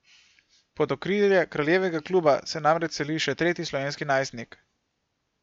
Pod okrilje kraljevega kluba se namreč seli še tretji slovenski najstnik.